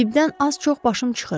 Tibdən az-çox başım çıxır.